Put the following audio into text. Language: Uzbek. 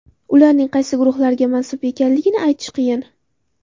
Ularning qaysi guruhlarga mansub ekanligini aytish qiyin.